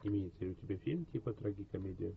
имеется ли у тебя фильм типа трагикомедия